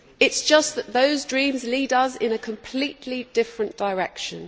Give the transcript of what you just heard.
It is just that those dreams lead us in a completely different direction.